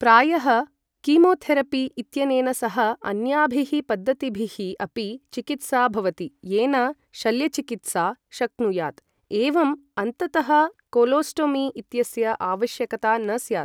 प्रायः, कीमोथेरेपी इत्यनेन सह अन्याभिः पद्धतिभिः अपि चिकित्सा भवति, येन शल्यचिकित्सा शक्नुयात्, एवम् अन्ततः कोलोस्टोमी इत्यस्य आवश्यकता न स्यात्।